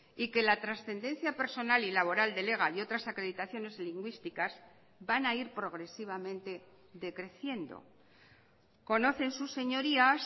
y que la trascendencia personal y laboral del ega y otras acreditaciones lingüísticas van a ir progresivamente decreciendo conocen sus señorías